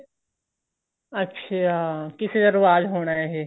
ਅੱਛਾ ਕਿਸੇ ਦਾ ਰਿਵਾਜ ਹੋਣਾ ਇਹ